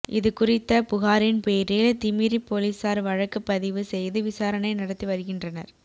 இது குறித்த புகாரின் பேரில் திமிரி போலீஸாா் வழக்குப் பதிவு செய்து விசாரணை நடத்தி வருகின்றனா்